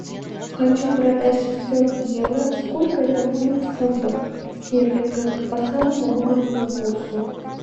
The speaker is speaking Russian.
хочу продать шестьсот евро сколько это будет в фунтах стерлингов по самому выгодному курсу